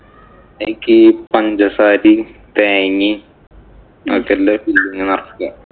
അതിലേക്കു പഞ്ചസാരയും, തേങ്ങയും filling നിറയ്ക്കുക.